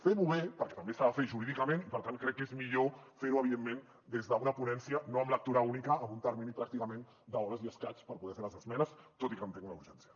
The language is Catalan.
fem ho bé perquè també s’ha de fer jurídicament i per tant crec que és millor fer ho evidentment des d’una ponència no amb lectura única amb un termini pràcticament d’hores i escaig per poder fer les esmenes tot i que entenc una urgència